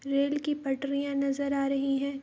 Rail की पटरियां नजर आ रही हैं।